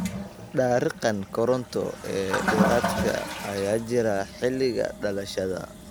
Dariiqan koronto ee dheeraadka ah ayaa jira xilliga dhalashada.